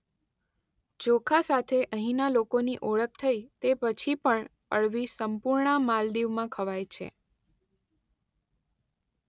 ચોખા સાથે અહીંના લોકોની ઓળખ થઈ તે પછી પણ અળવી સંપૂર્ણ માલદીવમાં ખવાય છે.